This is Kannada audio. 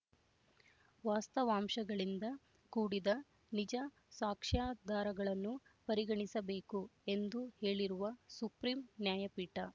ವಾಸ್ತವಾಂಶಗಳಿಂದ ಕೂಡಿದ ನಿಜ ಸಾಕ್ಷ್ಯಾಧಾರಗಳನ್ನು ಪರಿಗಣಿಸಬೇಕು ಎಂದು ಹೇಳಿರುವ ಸುಪ್ರೀಂ ನ್ಯಾಯಪೀಠ